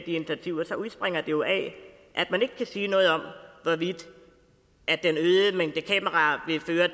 initiativer udspringer det jo af at man ikke kan sige noget om hvorvidt den øgede mængde kameraer vil føre